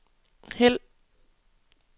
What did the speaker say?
hæld